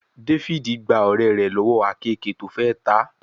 David gbà ọ̀rẹ́ rẹ̀ lọ́wọ́ àkeekèé tó fè tá.